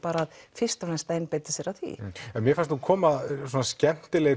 fyrst og fremst að einbeita sér að því en mér fannst nú koma svona skemmtileg